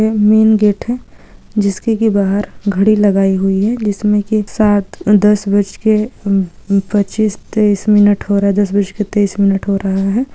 ये में गेट है जिस के के बहार घड़ी लगायी हुई है जिस में की सात दस बजके पचीस तेस मिनट हो रहा है दस बजके तेस मिनट हो रहा है ।